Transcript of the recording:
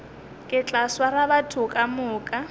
ke tla swara batho kamoka